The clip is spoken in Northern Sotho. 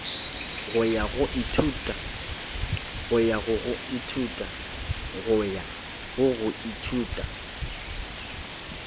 go ya go go ithuta